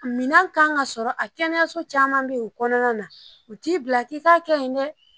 Minɛn kan ka sɔrɔ a kɛnɛyaso caman be yen u kɔnɔna na u t'i bila k'i ka kɛ yen dɛ.